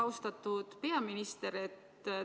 Austatud peaminister!